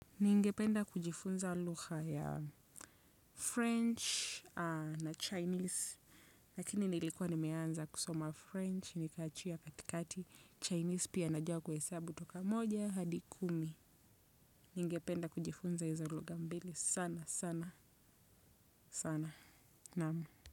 Ningependa kujifunza lugha ya French na Chinese. Lakini nilikuwa nimeanza kusoma French nikaachia katikati. Chinese pia najua kuhesabu toka moja hadi kumi. Ningependa kujifunza izo lugha mbili sana sana sana naam.